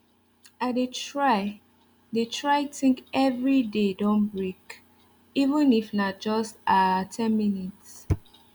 i dey try dey try think every day don break even if na just ah ten minutes